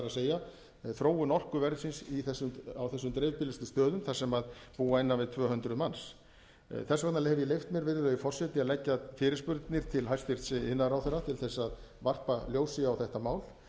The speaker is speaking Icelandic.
máls það er þróun orkuverðsins á þessum dreifbýlustu stöðum þar sem búa innan við tvö hundruð manns þess vegna hef ég leyft mér virðulegi forseti að leggja fyrirspurnir til hæstvirts iðnaðarráðherra til að varpa ljósi á þetta mál